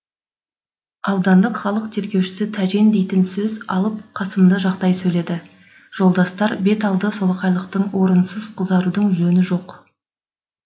аудандық халық тергеушісі тәжен дейтін сөз алып қасымды жақтай сөйледі жолдастар бет алды солақайлықтың орынсыз қызарудың жөні жоқ